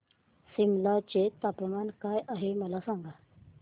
सिमला चे तापमान काय आहे मला सांगा